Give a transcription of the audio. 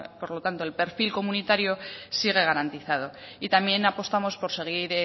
por lo tanto el perfil comunitario sigue garantizado y también apostamos por seguir